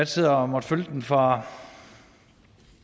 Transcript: sidder og følger den fra